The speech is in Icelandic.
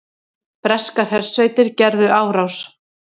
Breskar hersveitir gerðu árás